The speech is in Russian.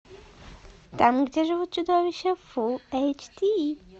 там где живут чудовища фул эйч ди